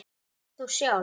En þú sjálf?